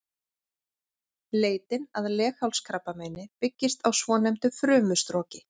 Leitin að leghálskrabbameini byggist á svonefndu frumustroki.